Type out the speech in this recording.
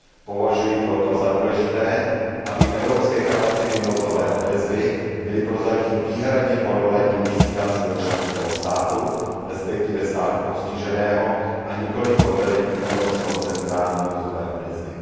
Považuji proto za důležité, aby evropské kapacity nouzové odezvy byly prozatím výhradně pod velením vysílacího členského státu, respektive státu postiženého, a nikoliv pod velením evropského centra nouzové odezvy.